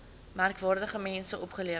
merkwaardige mense opgelewer